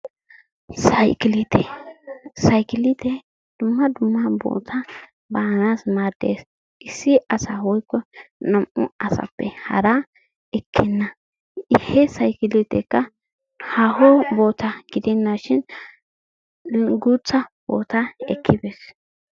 Sayikiliitiya. Sayikiliitee dumma dumma bootaa baanaassi maaddes. Issi asaa woyikko naa"u asaappe haraa ekkenna. He sayikiliiteekka haaho bootaa gidennaashin guutta bootaa ekkibees.